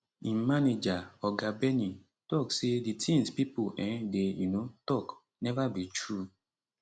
im manager oga benny tok say di tins pipo um dey um tok neva be true